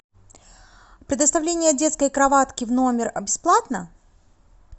предоставление детской кроватки в номер бесплатно